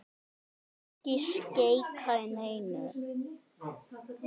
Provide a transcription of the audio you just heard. Ekki skeikar neinu.